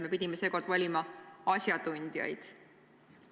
Me pidime seekord valima asjatundjaid.